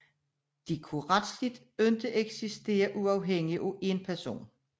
De kunne retsligt ikke eksistere uafhængigt af en person